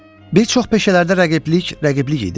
Bir çox peşələrdə rəqiblik, rəqiblik idi.